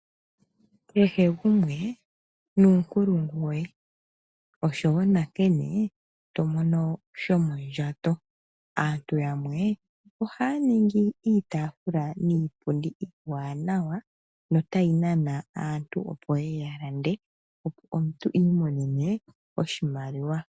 Kehe gumwe nuunkulungu woye, oshowo nankene to mono shomondjato. aantu yamwe ohaya ningi iitaafula niipundi iiwanawa notayi nana aantu opo ye ye ya lande, omuntu i imonene oshimaliwa.